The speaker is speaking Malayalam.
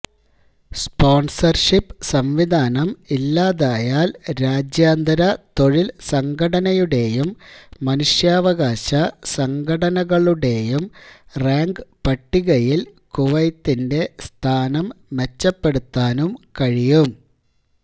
സ്പോൺസർഷിപ് സംവിധാനം ഇല്ലാതായാൽ രാജ്യാന്തര തൊഴിൽ സംഘടനയുടെയും മനുഷ്യാവകാശ സംഘടനകളുടെയും റാങ്ക് പട്ടികയിൽ കുവൈത്തിന്റെ സ്ഥാനം മെച്ചപ്പെടുത്താനും കഴിയും